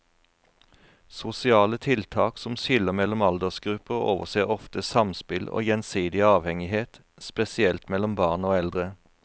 Sosiale tiltak som skiller mellom aldersgrupper overser ofte samspill og gjensidig avhengighet, spesielt mellom barn og eldre.